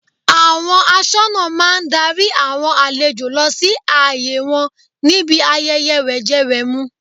Àwọn aṣọ́nà máa darí àwọn àlejò lọ sí àyè wọn níbi ayẹyẹ wẹ̀jẹwẹ̀mu.